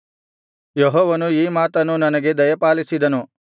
ಯೆಹೋವನು ಈ ಮಾತನ್ನು ನನಗೆ ದಯಪಾಲಿಸಿದನು